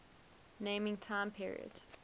naming time periods